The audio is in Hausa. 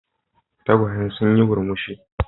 Tagwayen suna yin murmushi.